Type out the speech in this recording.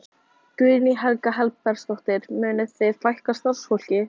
Guðný Helga Herbertsdóttir: Munið þið fækka starfsfólki?